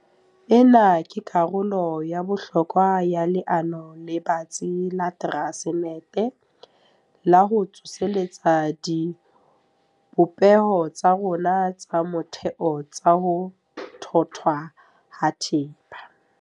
Ena ke karolo ya bohlokwa ya leano le batsi la Transnet la ho tsosolosa dibopeho tsa rona tsa motheo tsa ho thothwa ha thepa.